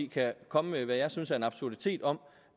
kan komme med hvad jeg synes er en absurditet om